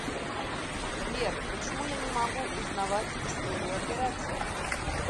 сбер почему я не могу узнавать историю операций